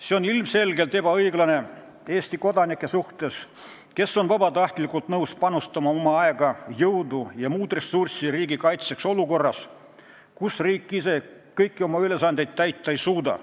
See on ilmselgelt ebaõiglane Eesti kodanike suhtes, kes on vabatahtlikult nõus panustama oma aega, jõudu ja muud ressurssi riigikaitsesse olukorras, kus riik ise kõiki oma ülesandeid täita ei suuda.